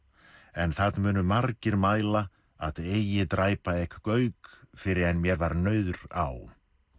en það munu margir mæla að eigi dræpa ek Gauk fyrr en mér var nauðr á